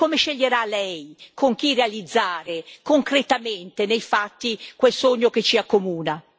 Ecco allora, Presidente Macron, come sceglierà lei con chi realizzare concretamente, nei fatti, quel sogno che ci accomuna?